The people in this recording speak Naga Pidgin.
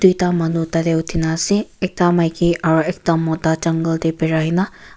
ekta manu tate uthi na ase ekta maiki aro ekta mota jungle de birai na.